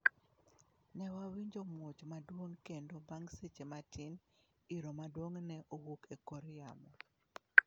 Ne wawinjo muoch maduong kendo bang seche matin iro maduong' ne owuok ekor yamo.